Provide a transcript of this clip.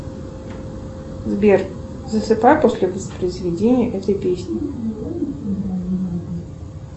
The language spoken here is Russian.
сбер засыпай после воспроизведения этой песни